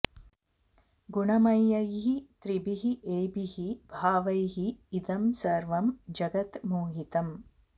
गुणमयैः त्रिभिः एभिः भावैः इदं सर्वं जगत् मोहितम्